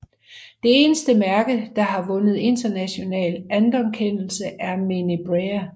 Det eneste mærke der har vundet international anerkendelse er Menabrea